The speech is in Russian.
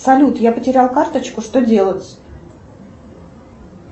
салют я потерял карточку что делать